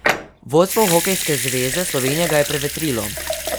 Vodstvo Hokejske zveze Slovenije ga je prevetrilo.